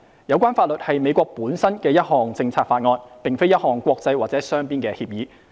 有關法律是美國本身的一項政策法案，並非一項國際或雙邊的協議。